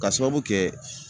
Ka sababu kɛ